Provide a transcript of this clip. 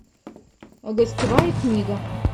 гостевая книга